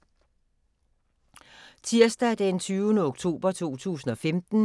Tirsdag d. 20. oktober 2015